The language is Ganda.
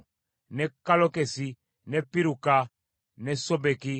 ne Kallokesi, ne Piruka, ne Sobeki,